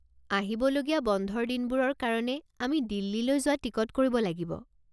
আহিবলগীয়া বন্ধৰ দিনবোৰৰ কাৰণে আমি দিল্লীলৈ যোৱা টিকট কৰিব লাগিব।